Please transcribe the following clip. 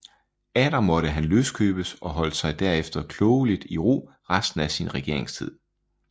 Atter måtte han løskøbes og holdt sig herefter klogelig i ro resten af sin regeringstid